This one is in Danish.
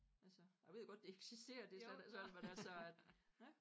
Altså jeg ved jo godt det eksisterer det slet ikke sådan men altså